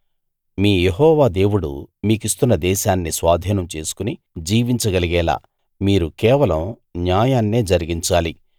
మీ యెహోవా దేవుడు మీకిస్తున్న దేశాన్ని స్వాధీనం చేసుకుని జీవించగలిగేలా మీరు కేవలం న్యాయాన్నే జరిగించాలి